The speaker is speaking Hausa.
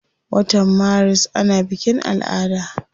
Wata maris ana bikin ala'ada.